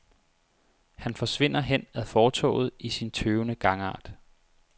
Han forsvinder hen ad fortovet i sin tøvende gangart.